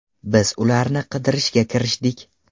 Biz ularni qidirishga kirishdik.